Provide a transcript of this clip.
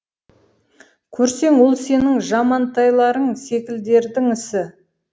көрсең ол сенің жамантайларың секілділердің ісі